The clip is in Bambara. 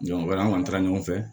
an kɔni taara ɲɔgɔn fɛ